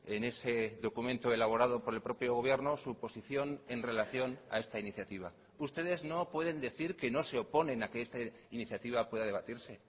en ese documento elaborado por el propio gobierno su posición en relación a esta iniciativa ustedes no pueden decir que no se oponen a que esta iniciativa pueda debatirse